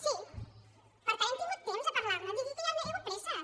sí per tant hem tingut temps de parlar ne no digui que hi ha hagut presses